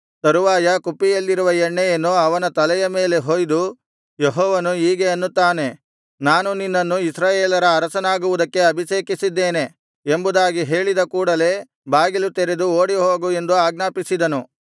ತರುವಾಯ ಕುಪ್ಪಿಯಲ್ಲಿರುವ ಎಣ್ಣೆಯನ್ನು ಅವನ ತಲೆಯ ಮೇಲೆ ಹೊಯ್ದು ಯೆಹೋವನು ಹೀಗೆ ಅನ್ನುತ್ತಾನೆ ನಾನು ನಿನ್ನನ್ನು ಇಸ್ರಾಯೇಲರ ಅರಸನಾಗುವುದಕ್ಕೆ ಅಭಿಷೇಕಿಸಿದ್ದೇನೆ ಎಂಬುದಾಗಿ ಹೇಳಿದ ಕೂಡಲೆ ಬಾಗಿಲು ತೆರೆದು ಓಡಿಹೋಗು ಎಂದು ಆಜ್ಞಾಪಿಸಿದನು